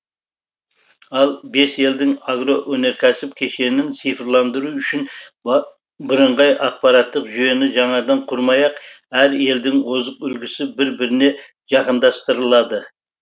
ал бес елдің агроөнеркәсіп кешенін цифрландыру үшін бірыңғай ақпараттық жүйені жаңадан құрмай ақ әр елдің озық үлгісі бір біріне жақындастырылады